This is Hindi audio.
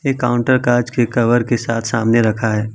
ये काउंटर का कांच के कभर के साथ सामने रखा है।